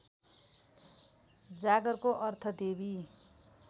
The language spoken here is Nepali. जागरको अर्थ देवी